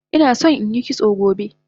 Inason inyi kitso gobe